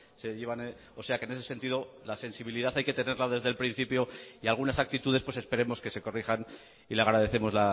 se llevan o sea que en ese sentido la sensibilidad hay que tenerla desde el principio y algunas actitudes pues esperemos que se corrijan y le agradecemos